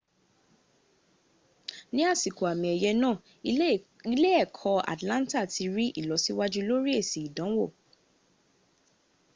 ní àsìkò àmì ẹ̀yẹ̀ náà ilé-ẹkọ́ atlanta ti rí ìlọsíwájú lórí èsì ìdánwò